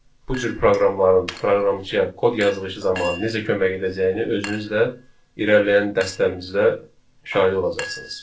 Bu cür proqramların proqramçıya kod yazılışı zamanı necə kömək edəcəyini özünüz də irəliləyən dərslərimizdə şahidi olacaqsınız.